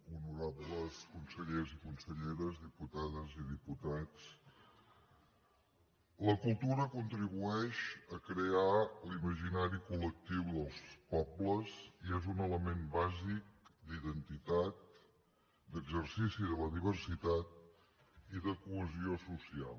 honorables consellers i conselleres diputades i diputats la cultura contribueix a crear l’imaginari col·lectiu dels pobles i és un element bàsic d’identitat d’exercici de la diversitat i de cohesió social